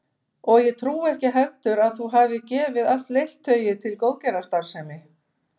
Og ég trúi ekki heldur að þú hafir gefið allt leirtauið til góðgerðarstarfsemi